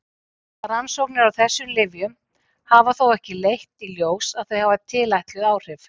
Rannsóknir á þessum lyfjum hafa þó ekki leitt í ljós að þau hafi tilætluð áhrif.